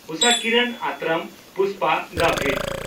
ᱩᱥᱟᱠᱤᱨᱚᱱ ᱟᱛᱨᱟᱢ ᱯᱩᱥᱯᱟ ᱜᱟᱵᱷᱤᱴ